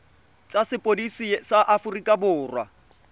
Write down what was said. tsa sepodisi sa aforika borwa